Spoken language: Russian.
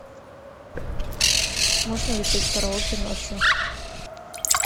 можно ли петь караоке ночью